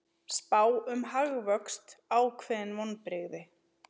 Spá um hagvöxt ákveðin vonbrigði